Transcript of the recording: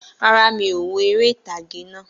Rárá, mi ò wo eré ìtàgé naa